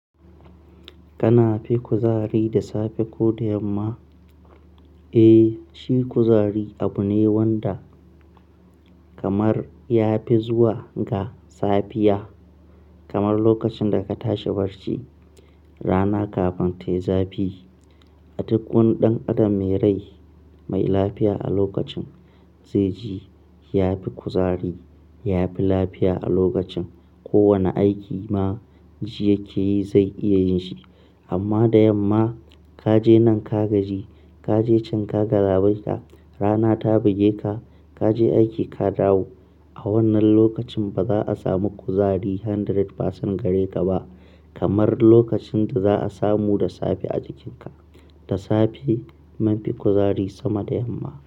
Kana fi kuzari da safe ko da yamma? Eh, shi kuzari abu ne wanda kamar ya fi zuwa ga safiya. Kamar lokacin da ka tashi barci, rana kafin ta yi zafi. A duk wani ɗan adam mai rai, mai lafiya a lokacin, zai ji ya fi kuzari, ya fi lafiya a lokacin. Kowane aiki ma ji yake yi, zai iya yin shi. Amma da yamma, ka je nan ka gaji, ka je can ka galaɓaita, rana ta buge ka, ka je aiki ka dawo. A wannan lokacin ba za a samu kuzari hundred percent gare ka ba. Kamar lokacin da za a samu da safe a jikinka. Da safe mun fi kuzari sama da yamma.